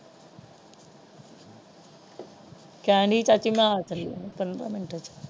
ਕਹਿਣ ਚਾਚੀ ਮੈਂ ਆ ਖੜੀ ਪੰਦਰਾਂ ਮਿੰਟ ਵਿੱਚ।